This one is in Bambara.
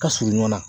Ka surun ɲɔgɔn na